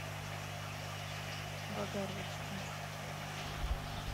богородску